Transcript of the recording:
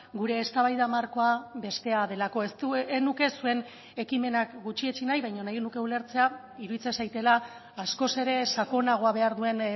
gure eztabaida markoa bestea delako ez nuke zuen ekimenak gutxietsi nahi baina nahi nuke ulertzea iruditzen zaidala askoz ere sakonagoa behar duen